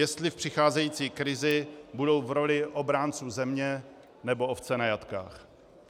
Jestli v přicházející krizi budou v roli obránců země, nebo ovce na jatkách.